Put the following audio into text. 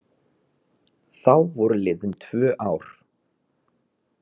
Þá voru liðin tvö ár.